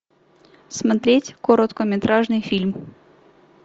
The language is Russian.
смотреть короткометражный фильм